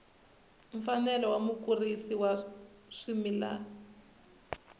mfanelo ya mukurisi wa swimila